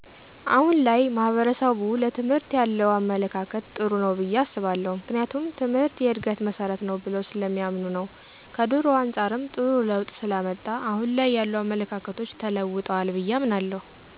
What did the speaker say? አሁን ላይ ማሕበረሰቡ ለትምህርት ያለው አመለካከት ጥሩ ነው ብየ አስባለሁ ምክንያቱም ትምህርት የእድገት መሠረት ነው ብለው ስለሚያምኑ ነው ከድሮው አንጻርም ጥሩ ለውጥ ስላመጣ አሁን ላይ ያሉ አመለካከቶች ተለውጠዋል ብየ አምናለሁ።